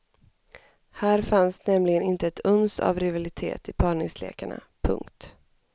Här fanns nämligen inte ett uns av rivalitet i parningslekarna. punkt